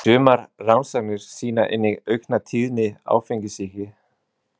Sumar rannsóknir sýna einnig aukna tíðni áfengissýki.